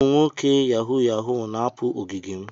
Ụmụ nwoke Yahoo yahoo na-apụ na ogige m.